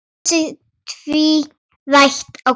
Brosið tvírætt á Kristi.